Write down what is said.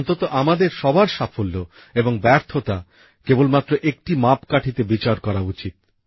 অন্তত আমাদের সবার সাফল্য এবং ব্যর্থতা কেবলমাত্র একটি মাপকাঠিতে বিচার করা উচিত